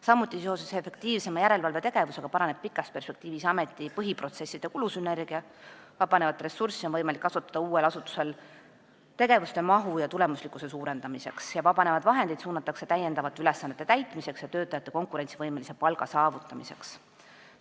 Samuti paraneb seoses efektiivsema järelevalvetegevusega pikas perspektiivis ameti põhiprotsesside kulusünergia, vabanevat ressurssi on uuel asutusel võimalik kasutada tegevuste mahu ja tulemuslikkuse suurendamiseks ning vabanevad vahendid suunatakse täiendavate ülesannete täitmiseks ja konkurentsivõimelise palga saavutamiseks.